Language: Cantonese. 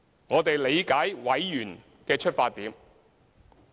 我理解委員的出發點。